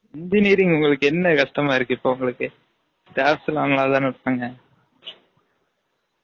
engineering உங்கலுக்கு என்ன கஷ்டமா இருக்கு இப்ப உங்கலுக்கு staffs லாம் நல்லா தானா இருப்பாங்க